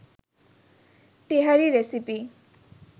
তেহারি recipe